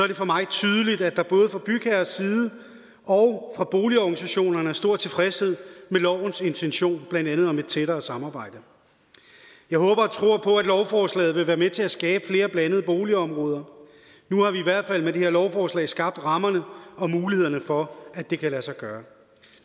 det for mig tydeligt at der både fra bygherres side og fra boligorganisationerne er stor tilfredshed med lovens intention blandt andet om et tættere samarbejde jeg håber og tror på at lovforslaget vil være med til at skabe flere blandede boligområder nu har vi i hvert fald med det her lovforslag skabt rammerne og mulighederne for at det kan lade sig gøre